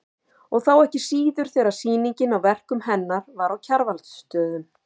Og þá ekki síður þegar sýningin á verkum hennar var á Kjarvalsstöðum.